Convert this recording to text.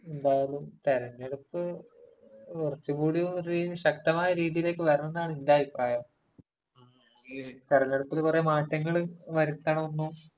എന്തായാലും തെരഞ്ഞെടുപ്പ്...കുറച്ചുകൂടി ഒരു ശക്തമായ രീതിയിലേക്ക് വരണം എന്നുള്ളതാണ് എന്റെ അഭിപ്രായം. തെരെഞ്ഞെടുപ്പിനു കുറേ മാറ്റങ്ങള് വരുത്തണം എന്നും...